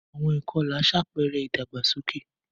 Àwọn àṣà ìkọlà ṣàpẹẹrẹ ìdàgbàsókè.